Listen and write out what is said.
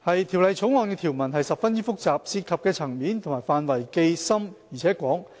《條例草案》的條文十分複雜，涉及的層面及範圍既深且廣。